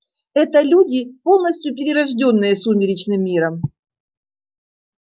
это люди полностью перерождённые сумеречным миром